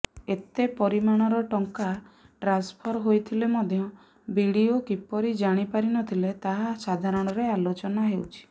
ଏତେ ପରିମାଣର ଟଙ୍କା ଟ୍ରାନ୍ସଫର ହୋଇଥିଲେ ମଧ୍ୟ ବିଡିଓ କିପରି ଜାଣିପାରିନଥିଲେ ତାହା ସାଧାରଣରେ ଆଲୋଚନା ହେଉଛି